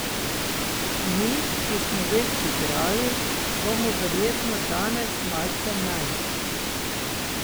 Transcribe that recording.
Mi, ki smo več igrali, bomo verjetno danes malce manj.